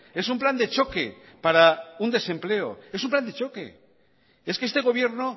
es un plan de choque para un desempleo es un plan de choque es que este gobierno